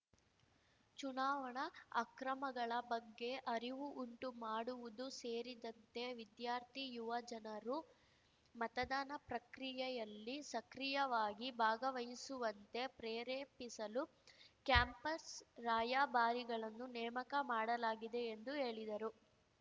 ಚುನಾವಣಾ ಅಕ್ರಮಗಳ ಬಗ್ಗೆ ಅರಿವು ಉಂಟು ಮಾಡುವುದು ಸೇರಿದಂತೆ ವಿದ್ಯಾರ್ಥಿ ಯುವ ಜನರು ಮತದಾನ ಪ್ರಕ್ರಿಯೆಯಲ್ಲಿ ಸಕ್ರಿಯವಾಗಿ ಭಾಗವಹಿಸುವಂತೆ ಪ್ರೇರೇಪಿಸಲು ಕ್ಯಾಂಪಸ್‌ ರಾಯಭಾರಿಗಳನ್ನು ನೇಮಕ ಮಾಡಲಾಗಿದೆ ಎಂದು ಹೇಳಿದರು